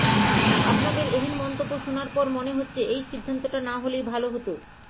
আপনাদের এহেন মন্তব্য শোনার পর মনে হচ্ছে এই সিদ্ধান্তটা না হলেই ভাল হতো